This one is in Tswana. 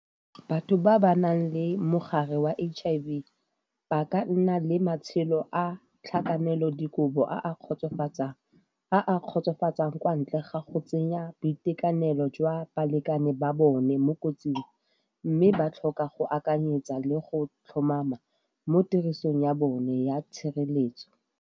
Batho ba ba nang le mogare wa H_I_V ba ka nna le matshelo a tlhakanelodikobo a a kgotsofatsang, a a kgotsofatsang kwa ntle ga go tsenya boitekanelo jwa balekane ba bone mo kotsing, mme ba tlhoka go akanyetsa le go tlhomama mo tirisong ya bone ya tshireletso.